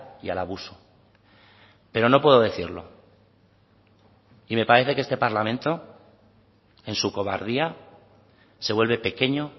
y al abuso pero no puedo decirlo y me parece que este parlamento en su cobardía se vuelve pequeño